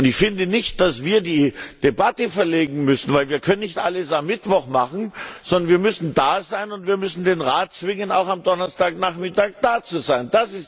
Ich finde nicht, dass wir die Debatte verlegen müssen, denn wir können nicht alles am Mittwoch machen, sondern wir müssen da sein und wir müssen den Rat zwingen, auch am Donnerstagnachmittag da zu sein.